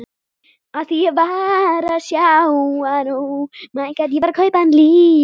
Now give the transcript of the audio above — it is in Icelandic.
Þau áttu engin börn saman.